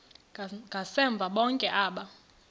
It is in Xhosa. ngasemva bonke aba